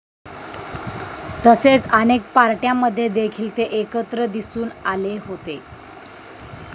तसेच अनेक पार्ट्यांमध्ये देखील ते एकत्र दिसून आले होते.